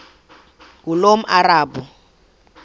ngulomarabu